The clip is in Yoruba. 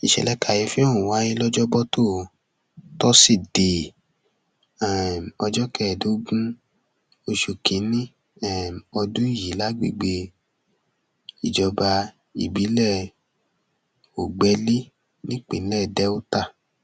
ìṣẹlẹ kàyééfì ọhún wáyé lọjọbọtò tósídéé um ọjọ kẹẹẹdọgbọn oṣù kínínní um ọdún yìí lágbègbè ìjọba ìbílẹ ògbẹlé nípínlẹ delta